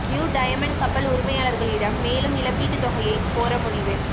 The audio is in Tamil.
நியூ டயமன்ட் கப்பல் உரிமையாளர்களிடம் மேலும் இழப்பீட்டுத் தொகையை கோர முடிவு